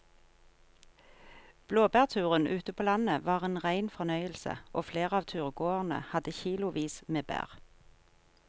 Blåbærturen ute på landet var en rein fornøyelse og flere av turgåerene hadde kilosvis med bær.